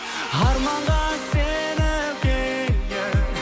арманға сеніп келдім